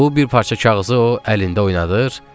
Bu bir parça kağızı o əlində oynadır.